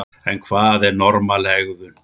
En hvað er normal hegðun?